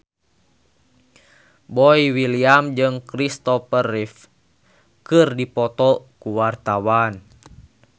Boy William jeung Christopher Reeve keur dipoto ku wartawan